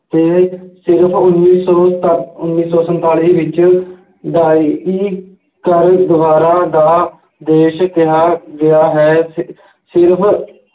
ਅਤੇ ਸਿਰਫ ਉੱਨੀ ਸੌ ਸੱਤ ਉੱਨੀ ਸੌ ਸੰਤਾਲੀ ਵਿੱਚ ਦਾ ਦੇਸ਼ ਕਿਹਾ ਗਿਆ ਹੈ ਅਹ ਸਿਰਫ